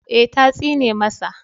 Ee, ta tsine masa